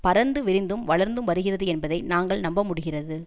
பரந்துவிரிந்தும் வளர்ந்தும் வருகிறது என்பதை நாங்கள் நம்பமுடிகிறது